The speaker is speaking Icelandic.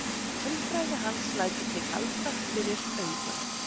Tölfræði hans lætur þig halda fyrir augun.